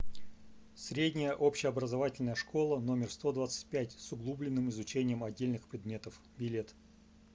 средняя общеобразовательная школа номер сто двадцать пять с углубленным изучением отдельных предметов билет